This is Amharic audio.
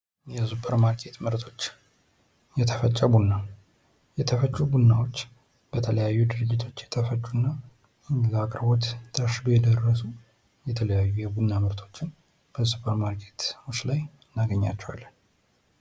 የሱፐር ማርኬት ምርቶች የተፈጨ ቡና የተፈጩ ቡናዎች በተለያዩ ድርጅቶች የተፈጩ እና ለአቅርቦት ታሽገዉ የደረሱ የተለያዩ የቡና ምርቶችን በሱፐር ማርኬት ላይ እናገኛቸዋለን።